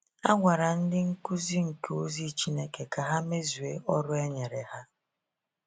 A gwara ndị Nkuzi nke Ozi Chineke ka ha mezue ọrụ e nyere ha.